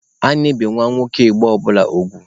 A na-ebi nwa nwoke Igbo ọbụla ugwu.